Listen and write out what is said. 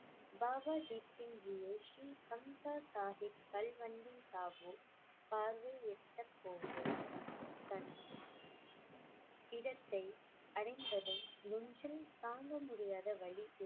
பாபா தீப் சிங் ஜி போது தன் இடத்தை அடைந்ததும் நெஞ்சில் தாங்க முடியாத வலி